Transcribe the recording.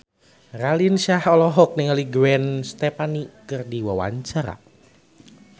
Raline Shah olohok ningali Gwen Stefani keur diwawancara